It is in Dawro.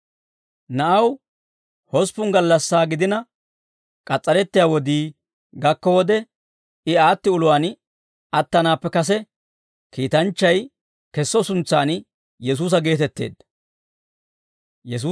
Na'aw hosppun gallassaa gidina k'as's'arettiyaa wodii gakko wode, I aatti uluwaan attanaappe kase, kiitanchchay kesso suntsaan, Yesuusa geetetteedda.